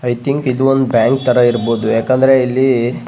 I think ಇದು ಒಂದು bank ತರ ಇರಬಹುದು ಯಾಕಂದ್ರೆ ಇಲ್ಲಿ --